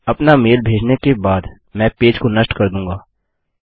अपना मेल भेजने के बाद मैं पेज को नष्ट कर दूँगा